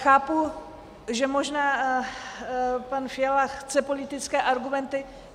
Chápu, že možná pan Fiala chce politické argumenty.